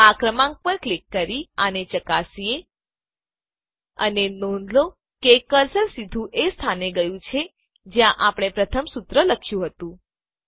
આ ક્રમાંક પર ક્લિક કરી આને ચકાસીએ અને નોંધ લો કે કર્સર સીધું એ સ્થાને ગયું છે જ્યાં આપણે પ્રથમ સુત્ર લખ્યું હતું